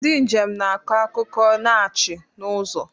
Ndị njem na-akọ akụkọ na ọchị n'ụzọ.